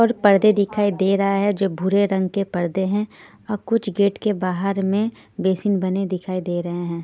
और पर्दे दिखाई दे रहा है जो भूरे रंग के पर्दे हैं और कुछ गेट के बाहर में बेसिन बने दिखाई दे रहे हैं.